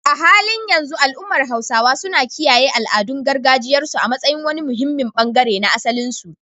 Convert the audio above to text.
A halin yanzu al’ummar Hausawa suna kiyaye al’adun gargajiyarsu a matsayin wani muhimmin bangare na asalinsu.